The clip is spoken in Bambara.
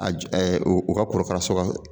A ji ɛ o ka korokara sɔrɔ